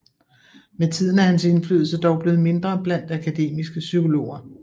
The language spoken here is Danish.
Med tiden er hans indflydelse dog blevet mindre blandt akademiske psykologer